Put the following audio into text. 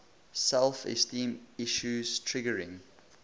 self esteem issues triggering